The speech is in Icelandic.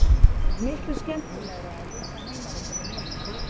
Miklu skemmtilegra á litla heimavellinum mínum.